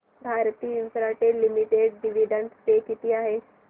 Bharti Infratel limited dividend पे किती आहे